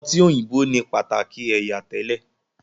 ọtí òyìnbó ni pataki ẹyà tẹlẹ.